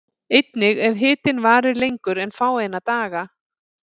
Einnig ef hitinn varir lengur en fáeina daga.